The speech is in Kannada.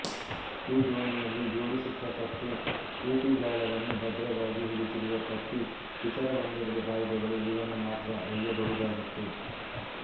ಈ ದೋಣಿಯಲ್ಲಿ ಜೋಡಿಸಿಟ್ಟ ತಟ್ಟೆ ಈಟಿಗಾಳವನ್ನು ಭದ್ರವಾಗಿ ಹಿಡಿದಿಡುವ ಪಟ್ಟಿ ಇತರ ಒಂದೆರಡು ಆಯುಧಗಳು ಇವನ್ನು ಮಾತ್ರ ಒಯ್ಯಬಹುದಾಗಿತ್ತು